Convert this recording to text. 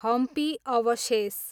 हम्पी अवशेष